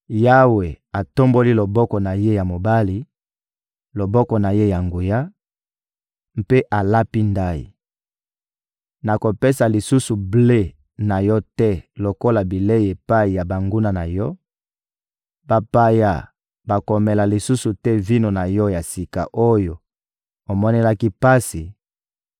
Yawe atomboli loboko na Ye ya mobali, loboko na Ye ya nguya, mpe alapi ndayi: «Nakopesa lisusu ble na yo te lokola bilei epai ya banguna na yo; bapaya bakomela lisusu te vino na yo ya sika oyo omonelaki pasi;